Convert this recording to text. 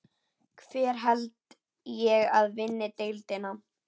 Hver held ég að vinni deildina?